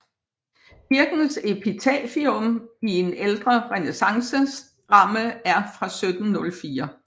Kirkens epitafium i en ældre renæssanceramme er fra 1704